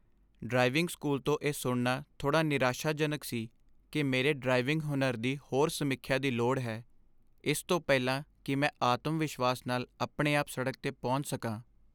driving school ਤੋਂ ਇਹ ਸੁਣਨਾ ਥੋੜ੍ਹਾ ਨਿਰਾਸ਼ਾਜਨਕ ਸੀ ਕਿ ਮੇਰੇ ਡ੍ਰਾਈਵਿੰਗ ਹੁਨਰ ਦੀ ਹੋਰ ਸਮੀਖਿਆ ਦੀ ਲੋੜ ਹੈ ਇਸ ਤੋਂ ਪਹਿਲਾਂ ਕੀ ਮੈਂ ਆਤਮ ਵਿਸ਼ਵਾਸ ਨਾਲ ਆਪਣੇ ਆਪ ਸੜਕ 'ਤੇ ਪਹੁੰਚ ਸਕਾਂ